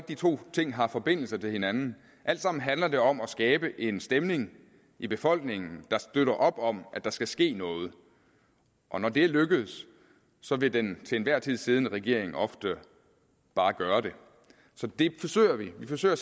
de to ting har forbindelse til hinanden alt sammen handler det om at skabe en stemning i befolkningen der støtter op om at der skal ske noget og når det er lykkedes så vil den til enhver tid siddende regering ofte bare gøre det så det forsøger vi vi forsøger